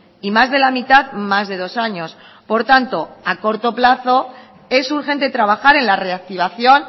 y más de la mitad más de dos años por tanto a corto plazo es urgente trabajar en la reactivación